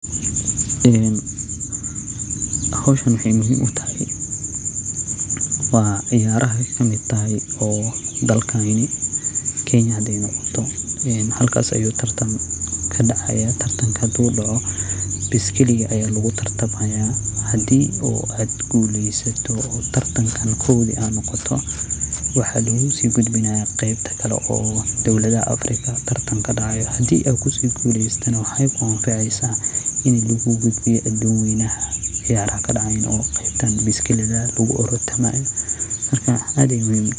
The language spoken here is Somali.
Howshan wexey muhiim utahay ciyaraha ayey kamid tahay dalkani kenya oo meesha ayu tartan kadacaya oo baskali aya lugutartamaya hadi ad gelysato oo kow ad noqoto waxa lugugudbinaya wadamada afrika hadi ad kaguleysatana wadama kore oo ciyaraha kadacayin oo qeybta biskilida.